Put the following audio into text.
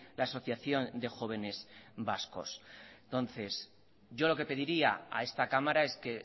la asociación de jóvenes vascos entonces yo lo que pediría a esta cámara es que